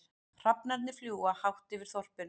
Hrafnarnir fljúga hátt yfir þorpinu.